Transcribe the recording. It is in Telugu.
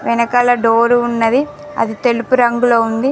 ఎనకాల డోర్ ఉన్నది. అది తెలుపు రంగులో ఉంది.